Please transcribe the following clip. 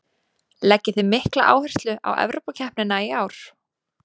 Leggið þið mikla áherslu á Evrópukeppnina í ár?